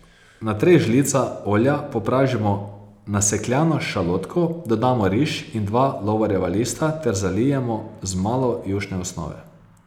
Na treh žlica olja popražimo nasekljano šalotko, dodamo riž in dva lovorjeva lista ter zalijemo z malo jušne osnove.